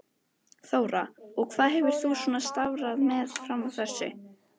Þóra: Og hvað hefur þú svona starfað meðfram þessu?